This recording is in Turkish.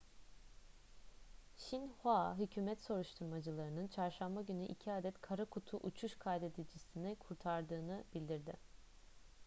xinhua hükümet soruşturmacılarının çarşamba günü iki adet kara kutu' uçuş kaydedicisini kurtardığını bildirdi